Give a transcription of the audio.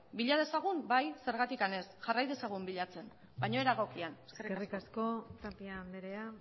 bila dezagun bai zergatik ez jarrai dezagun bilatzen baina era egokian eskerrik asko tapia andrea